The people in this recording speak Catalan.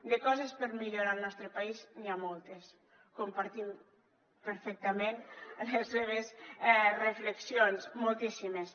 de coses per millorar al nostre país n’hi ha moltes compartim perfectament les seves reflexions moltíssimes